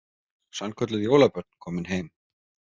Sannkölluð jólabörn komin heim